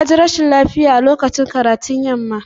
Ya ji rashin lafiya a lokacin karatun yamma.